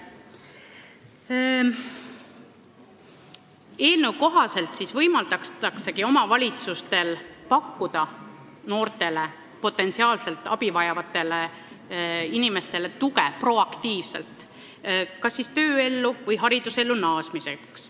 Eelnõu kohaselt võimaldatakse omavalitsustel proaktiivselt pakkuda potentsiaalselt abi vajavatele noortele inimestele tuge kas tööelu alustamiseks või haridusellu naasmiseks.